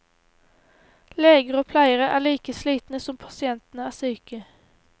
Leger og pleiere er like slitne som pasientene er syke.